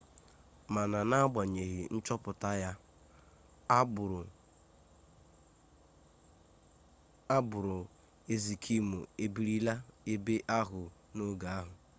mana n'agbanyeghi nchọpụta ya agbụrụ ezkimo ebirilarị ebe ahụ n'oge ahụ